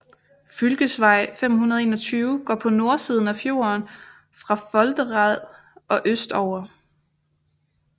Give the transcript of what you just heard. Fylkesvei 521 går på nordsiden af fjorden fra Foldereid og østover